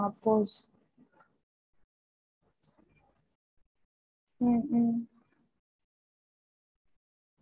ஒரு thirt five ல இருந்து forty members க்கு மட்டும் அஹ் prepare பண்ணி தர முடியுமா three times க்கு.